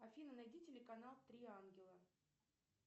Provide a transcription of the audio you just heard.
афина найди телеканал три ангела